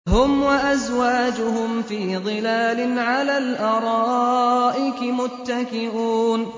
هُمْ وَأَزْوَاجُهُمْ فِي ظِلَالٍ عَلَى الْأَرَائِكِ مُتَّكِئُونَ